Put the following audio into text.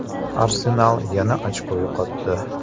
“Arsenal” yana ochko yo‘qotdi.